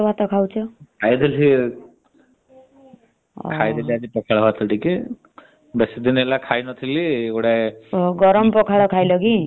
ଖାଇଦେଲି ଖାଇଦେଲି ଆଜି ପଖାଳ ଭାତ ଟିକେ । ବେଶୀ ଦିନ ହେଲା ଖାଇନଥିଲି ଗୁଡାଏ